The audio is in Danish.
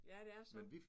Ja det er så